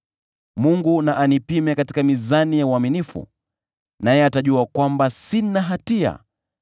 Mungu na anipime katika mizani za uaminifu, naye atajua kwamba sina hatia: